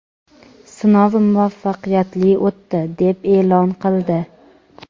sinov muvaffaqiyatli o‘tdi deb e’lon qildi.